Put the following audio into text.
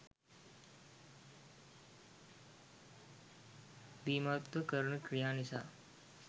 බීමත්ව කරන ක්‍රියා නිසා